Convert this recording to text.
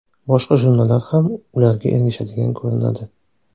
Boshqa jurnallar ham ularga ergashadigan ko‘rinadi.